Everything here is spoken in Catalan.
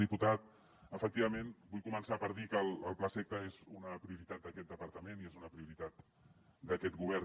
diputat efectivament vull començar per dir que el plaseqta és una prioritat d’aquest departament i és una prioritat d’aquest govern